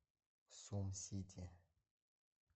сумсити